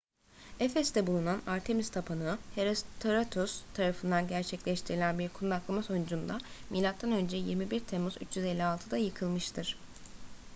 efes'te bulunan artemis tapınağı herostratus tarafından gerçekleştirilen bir kundaklama sonucunda mö 21 temmuz 356'da yıkılmıştır